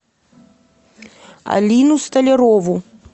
алину столярову